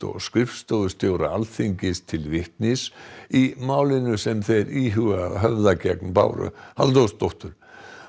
og skrifstofustjóra Alþingis til vitnis í málinu sem þeir íhuga að höfða gegn Báru Halldórsdóttur